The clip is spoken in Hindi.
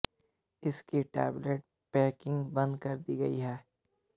इसकी टेबलेट पैकिंग बंद कर दी गई है